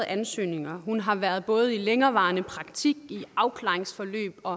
ansøgninger hun har været i både længerevarende praktik i afklaringsforløb og